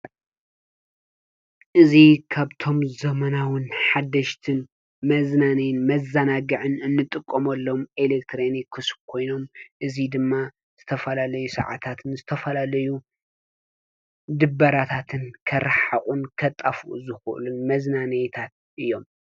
እዚ ካብቶም ዘመናዊን ሓደሽትን መዝናንይን መዛናግዕን እንጥቆሞሎም ኤሌክትሮኒክስ ኮይኖም እዙይ ድማ ዝተፈላለዩ ሰዓታትን ዝተፈላለዩ ድበራታትን ከራሕሕቁን ከጣፉኡ ዝክእሉ መዝናነይታት እዮም።